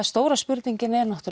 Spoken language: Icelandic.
stóra spurningin er